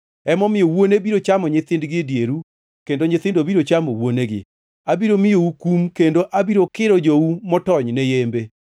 Emomiyo wuone biro chamo nyithindgi e dieru, kendo nyithindo biro chamo wuonegi. Abiro miyou kum kendo abiro kiro jou motony ne yembe.